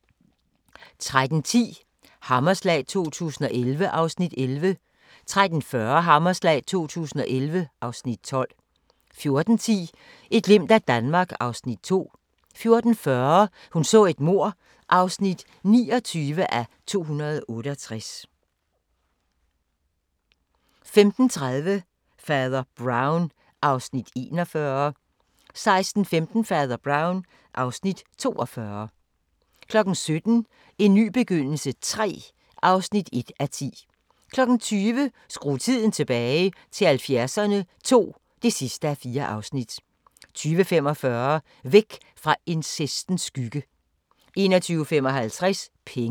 13:10: Hammerslag 2011 (Afs. 11) 13:40: Hammerslag 2011 (Afs. 12) 14:10: Et glimt af Danmark (Afs. 2) 14:40: Hun så et mord (29:268) 15:30: Fader Brown (Afs. 41) 16:15: Fader Brown (Afs. 42) 17:00: En ny begyndelse III (1:10) 20:00: Skru tiden tilbage – til 70'erne II (4:4) 20:45: Væk fra incestens skygge 21:55: Penge